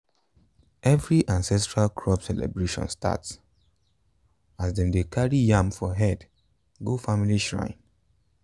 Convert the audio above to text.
every ancestral crop celebration start as dem dey carry yam for head go family shrine.